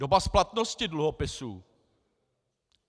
Doba splatnosti dluhopisů.